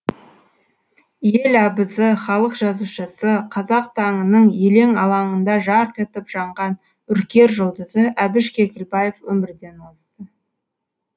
ел абызы халық жазушысы қазақ таңының елең алаңында жарқ етіп жанған үркер жұлдызы әбіш кекілбаев өмірден озды